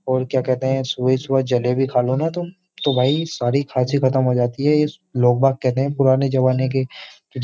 और क्या कहते हैं सुबह सुबह जलेबी खा लो ना तुम तो भाई सारी खासी खत्म हो जाती है ये लोग बाग कहते हैं पुराने जमाने के --